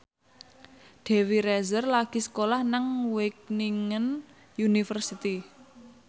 Dewi Rezer lagi sekolah nang Wageningen University